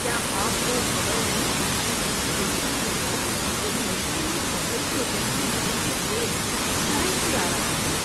کیا آپ کو خبر نہیں تھی کہ سی ای او اس مشکل میں پھنسے پروجیکٹ کی مدد کے لیے فلائٹ سے آ رہا ہے؟